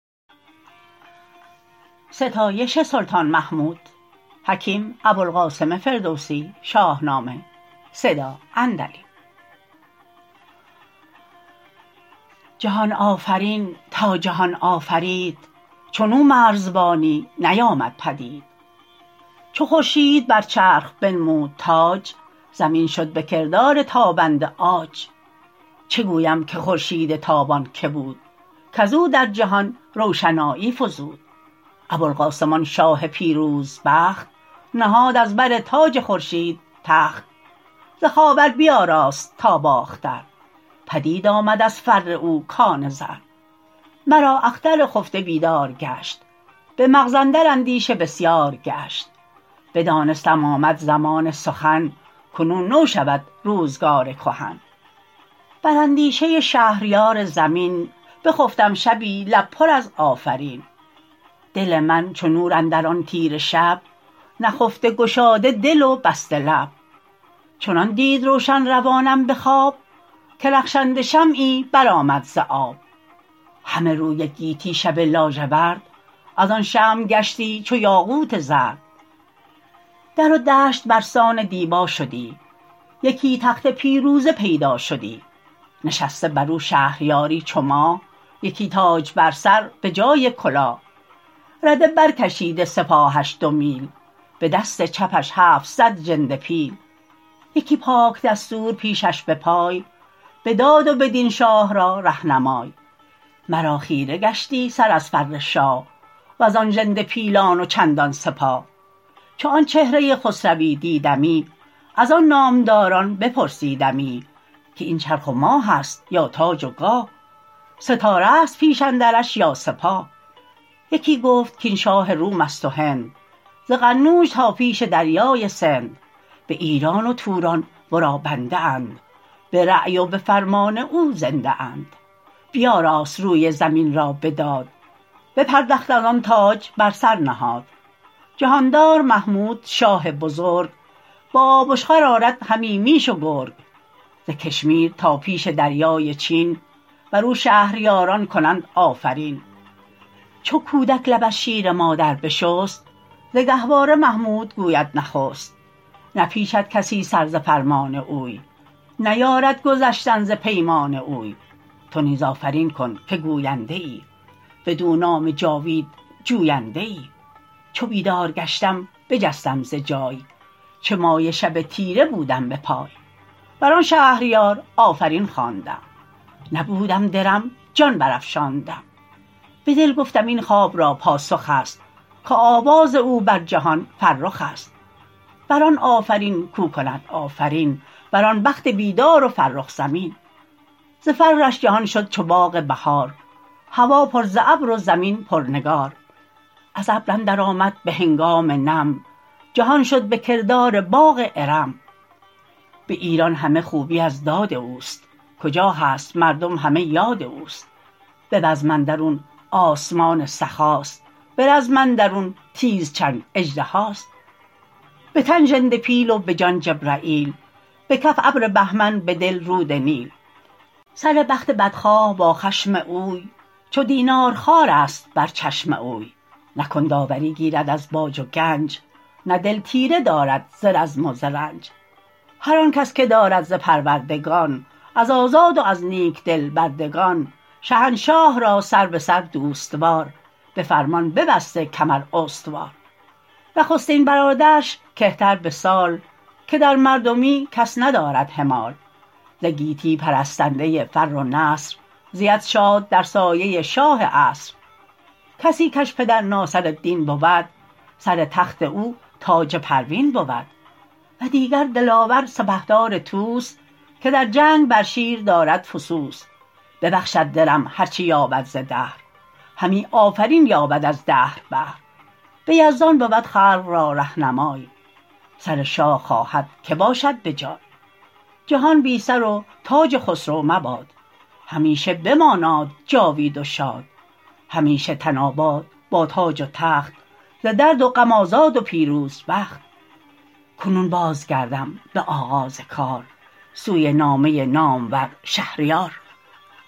جهان آفرین تا جهان آفرید چون او مرزبانی نیامد پدید چو خورشید بر چرخ بنمود تاج زمین شد به کردار تابنده عاج چه گویم که خورشید تابان که بود کز او در جهان روشنایی فزود ابوالقاسم آن شاه پیروز بخت نهاد از بر تاج خورشید تخت ز خاور بیاراست تا باختر پدید آمد از فر او کان زر مرا اختر خفته بیدار گشت به مغز اندر اندیشه بسیار گشت بدانستم آمد زمان سخن کنون نو شود روزگار کهن بر اندیشه شهریار زمین بخفتم شبی لب پر از آفرین دل من چو نور اندر آن تیره شب نخفته گشاده دل و بسته لب چنان دید روشن روانم به خواب که رخشنده شمعی بر آمد ز آب همه روی گیتی شب لاژورد از آن شمع گشتی چو یاقوت زرد در و دشت بر سان دیبا شدی یکی تخت پیروزه پیدا شدی نشسته بر او شهریاری چو ماه یکی تاج بر سر به جای کلاه رده بر کشیده سپاهش دو میل به دست چپش هفتصد ژنده پیل یکی پاک دستور پیشش به پای به داد و به دین شاه را رهنمای مرا خیره گشتی سر از فر شاه و زان ژنده پیلان و چندان سپاه چو آن چهره خسروی دیدمی از آن نامداران بپرسیدمی که این چرخ و ماه است یا تاج و گاه ستاره است پیش اندرش یا سپاه یکی گفت کاین شاه روم است و هند ز قنوج تا پیش دریای سند به ایران و توران ورا بنده اند به رای و به فرمان او زنده اند بیاراست روی زمین را به داد بپردخت از آن تاج بر سر نهاد جهاندار محمود شاه بزرگ به آبشخور آرد همی میش و گرگ ز کشمیر تا پیش دریای چین بر او شهریاران کنند آفرین چو کودک لب از شیر مادر بشست ز گهواره محمود گوید نخست نپیچد کسی سر ز فرمان اوی نیارد گذشتن ز پیمان اوی تو نیز آفرین کن که گوینده ای بدو نام جاوید جوینده ای چو بیدار گشتم بجستم ز جای چه مایه شب تیره بودم به پای بر آن شهریار آفرین خواندم نبودم درم جان بر افشاندم به دل گفتم این خواب را پاسخ است که آواز او بر جهان فرخ است بر آن آفرین کو کند آفرین بر آن بخت بیدار و فرخ زمین ز فرش جهان شد چو باغ بهار هوا پر ز ابر و زمین پر نگار از ابر اندر آمد به هنگام نم جهان شد به کردار باغ ارم به ایران همه خوبی از داد اوست کجا هست مردم همه یاد اوست به بزم اندرون آسمان سخاست به رزم اندرون تیز چنگ اژدهاست به تن ژنده پیل و به جان جبرییل به کف ابر بهمن به دل رود نیل سر بخت بدخواه با خشم اوی چو دینار خوارست بر چشم اوی نه کند آوری گیرد از باج و گنج نه دل تیره دارد ز رزم و ز رنج هر آن کس که دارد ز پروردگان از آزاد و از نیک دل بردگان شهنشاه را سر به سر دوست وار به فرمان ببسته کمر استوار نخستین برادرش که تر به سال که در مردمی کس ندارد همال ز گیتی پرستنده فر و نصر زید شاد در سایه شاه عصر کسی کش پدر ناصرالدین بود سر تخت او تاج پروین بود و دیگر دلاور سپهدار طوس که در جنگ بر شیر دارد فسوس ببخشد درم هر چه یابد ز دهر همی آفرین یابد از دهر بهر به یزدان بود خلق را رهنمای سر شاه خواهد که باشد به جای جهان بی سر و تاج خسرو مباد همیشه بماناد جاوید و شاد همیشه تن آباد با تاج و تخت ز درد و غم آزاد و پیروز بخت کنون باز گردم به آغاز کار سوی نامه نامور شهریار